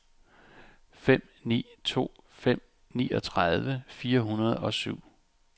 fem ni to fem niogtredive fire hundrede og syv